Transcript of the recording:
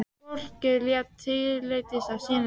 Fólkið lét tilleiðast að sýna þig.